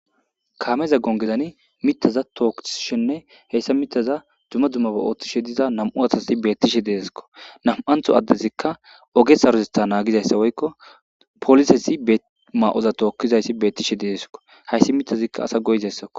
Kameza gongezani mithaza tookisishenne hesa duma dumma ogen othishe diza nam'u asati beyishe de'esko nam'antho addezi oge sarotetha nangisishe diza poliseta maya tokishe dizaysi beyishe de'esiko haysi mithazika asa go'izaysako.